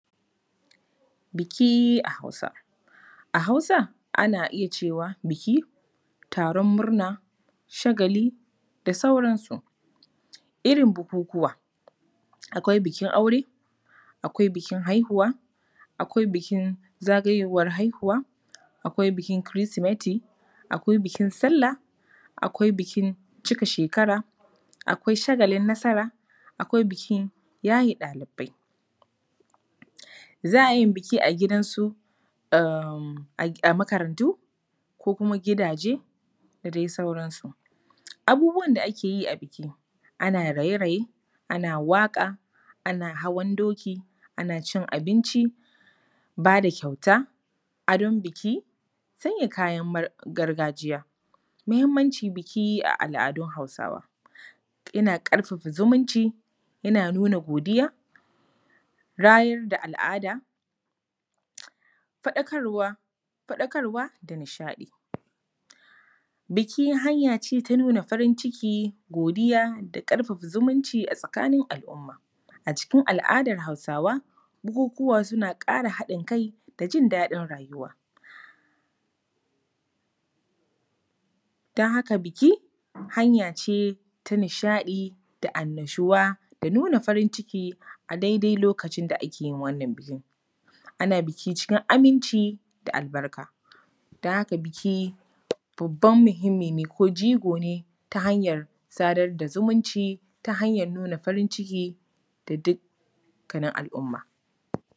Buki a Hausa. A Hausa, ana iya cewa buki, taron murna, shagali da sauransu. Irin bukukuwa: akwai bukin aure, akwai bukin haihuwa, akwai bukin zagayowar haihuwa, akwai bukin Kirsimati, akwai bukin Sallah, akwai bukin cika shekara, akwai shagalin nasara, akwai bukin yaye ɗalibai. Za a iya yin buki a gidansu, a… makarantu, ko kuma gidaje da dai sauransu. Abubuwan da ake yi a buki: ana raye-raye, ana waƙa, ana hawan doki, ana cin abinci, ba da kyauta, adon buki, sanya gargajiya. Muhimmancin buki a al’adun Hausawa: yana ƙarfafa zumunci, yana nuna godiya, rayar da al’ada, faɗakarwa da nishaɗi. buki hanya ce ta nuna farin ciki, godiya da ƙarfafa zumunci a tsakanin al’umma. A cikin al’adar Hausawa, bukukuwa suna ƙara haɗin kai da jin daɗin rayuwa. Don haka buki, hanya ce ta nishaɗi da annashuwa da nuna farin ciki a daidai lokacin da ake yin wannan bukin. Ana buki cikin aminci da albarka. Don haka buki, babban muhimmi ne ko jigo ne ta hanyar sadar da zumunci, ta hanyar nuna farin ciki da dukkanin al’umma.